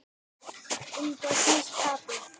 Um hvað snýst tapið?